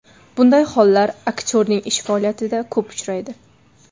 Bunday hollar aktyorning ish faoliyatida ko‘p uchraydi.